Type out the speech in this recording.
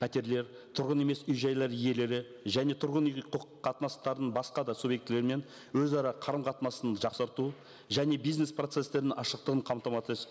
пәтерлер тұрғын емес үй жайлар иелері және тұрғын үйге құқық қатынастарын басқа да субъектілерімен өзара қарым қатынасын жақсарту және бизнес процесстерінің ашықтығын